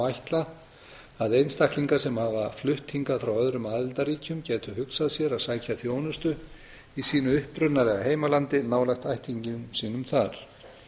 ætla að einstaklingar sem hafa flutt hingað frá öðrum aðildarríkjum gætu hugsað sér að sækja þjónustu í sínu upprunalega heimalandi nálægt ættingjum sínum þar